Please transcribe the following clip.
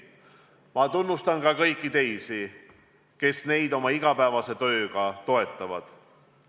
Ma tunnustan ka kõiki teisi, kes neid oma igapäevase tööga toetavad.